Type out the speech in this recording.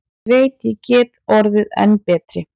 Ég veit ég get orðið enn betri.